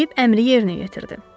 Filip əmri yerinə yetirdi.